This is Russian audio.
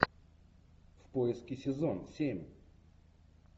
в поиске сезон семь